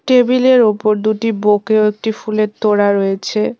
Table -এর ওপর দুটি বোকে ও একটি ফুলের তোড়া রয়েছে।